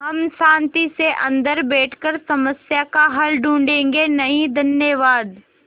हम शान्ति से अन्दर बैठकर समस्या का हल ढूँढ़े गे नहीं धन्यवाद